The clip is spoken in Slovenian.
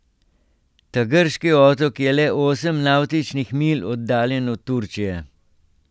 Ta grški otok je le osem navtičnih milj oddaljen od Turčije.